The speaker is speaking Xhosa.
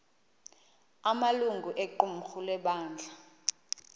amalungu equmrhu lebandla